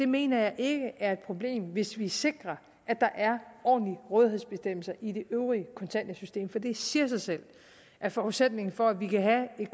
mener ikke det er et problem hvis vi sikrer at der er ordentlige rådighedsbestemmelser i det øvrige kontanthjælpssystem for det siger sig selv at forudsætningen for at vi kan have et